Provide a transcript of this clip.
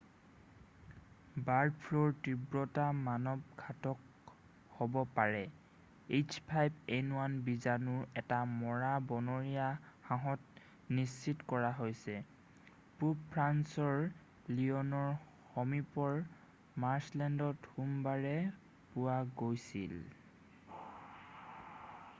Bird ফ্লুৰ তীব্ৰতা মানৱ ঘাতক হ'ব পাৰে h5n1 বিজানু এটা মৰা বনৰীয়া হাঁহত নিশ্চিত কৰা হৈছে পূৱ ফ্ৰান্সৰ লিয়নৰ সমীপৰ মাৰ্ছলেণ্ডত সোমবাৰে পোৱা গৈছিল।